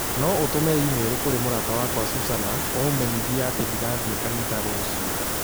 No ũtũme i-mīrū kũrĩ mũrata wakwa Susanna ũmũmenyithie atĩ ndigathiĩ kanitha rũciũ